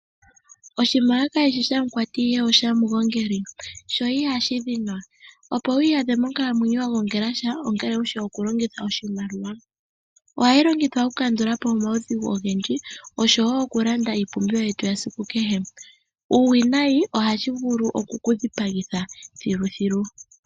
Oshimaliwa kashishi shamukwati ihe oshamugongeli, sho ihashi dhinwa. Opo wi iyadhe monkalamwenyo wunasha owa pumbwa okugongela. Iimaliwa ohayi longithwa okukandulapo omaudhigu ogendji noshoo woo okulanda iipumbiwa yetu ya esiku kehe, iiwinayi ohashi vulu oku dhipagitha thiluthilu.